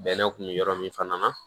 Bɛnɛ kun bɛ yɔrɔ min fana na